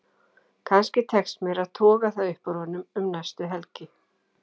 Kannski tekst mér að toga það upp úr honum um næstu helgi.